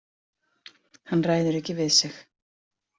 Hann ræður ekki við sig